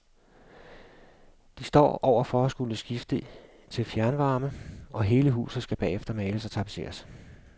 De står over for at skulle skifte til fjernvarme, og hele huset skal bagefter males og tapetseres.